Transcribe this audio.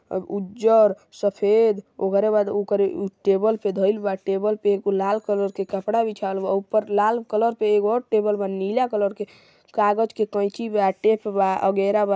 अ उज्जर सफ़ेद ओकरे बाद ओकरे टेबल पे धइल बा टेबल पे एगो लाल कलर के कपड़ा बिछावल बा आउ ऊपर लाल कलर पे एगो आउ टेबल बा नीला कलर के कागज़ के कैची बा टेप बा अगेरा बा।